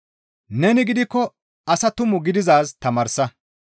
Neni gidikko asaa tumu gididaaz tamaarsa.